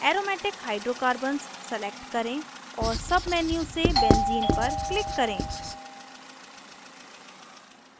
aromatic hydrocarbons select करें और submenu से benzene पर click करें